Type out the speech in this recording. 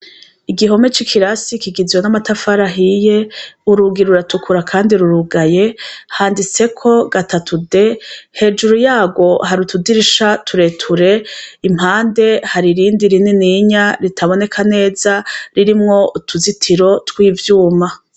Igihome c' ikirasi kigizwe n' amatafari ahiye, urugi ruratukura kandi rurugaye, handitseko gatatu D, hejuru yarwo hari utudirisha tureture , impande hari irindi rinininya ritaboneka neza, ririmwo ruzitiro tw' ivyuma.